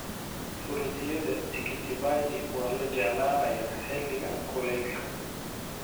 Fruityada tikiti maji waa la jeclaanayaa xilliga kuleylka.